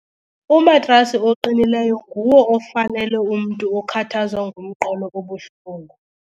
Umatrasi oqinileyo nguwo ofanele umntu okhathazwa ngumqolo obuhlungu.